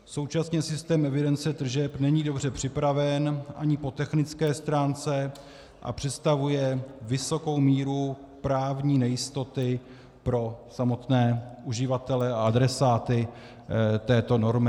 Současně systém evidence tržeb není dobře připraven ani po technické stránce a představuje vysokou míru právní nejistoty pro samotné uživatele a adresáty této normy.